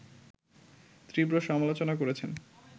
তীব্র সমালোচনা করছেন